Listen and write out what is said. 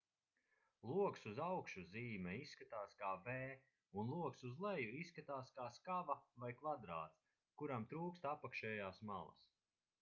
loks uz augšu zīme izskatās kā v un loks uz leju izskatās kā skava vai kvadrāts kuram trūkst apakšējās malas